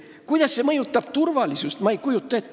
Kuidas see mõjutab turvalisust?